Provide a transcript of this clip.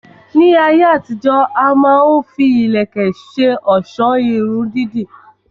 Ní ayé àtijó, a má ń fi ìlẹ̀kẹ̀ ṣe ọ̀sọ́ Irun dídì